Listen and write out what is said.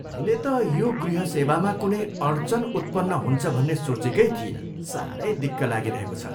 मैले त यो गृह सेवामा कुनै अड्चन उत्पन्न हुन्छ भन्ने सोचेकै थिइनँ। साह्रै दिक्क लागिरहेको छ।